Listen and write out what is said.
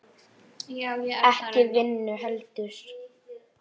Ekki vinnu heldur.